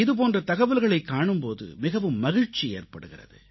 இதுபோன்ற தகவல்களைக் காணும்போது மிகவும் மகிழ்ச்சி ஏற்படுகிறது